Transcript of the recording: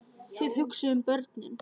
Þið hugsið um börnin.